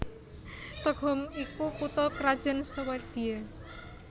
Stockholm iku kutha krajan Swédia